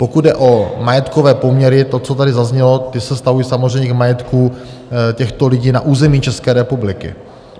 Pokud jde o majetkové poměry, to, co tady zaznělo, ty se vztahují samozřejmě k majetku těchto lidí na území České republiky.